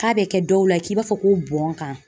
K'a bɛ kɛ dɔw la k'i b'a fɔ ko bɔn kan.